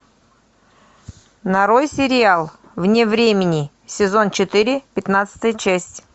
нарой сериал вне времени сезон четыре пятнадцатая часть